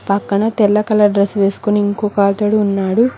పక్కన తెల్ల colour dress వేసుకుని ఇంకొకతడు ఉన్నాడు.